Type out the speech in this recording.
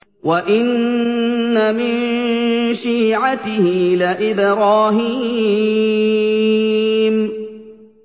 ۞ وَإِنَّ مِن شِيعَتِهِ لَإِبْرَاهِيمَ